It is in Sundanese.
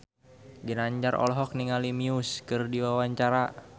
Ginanjar olohok ningali Muse keur diwawancara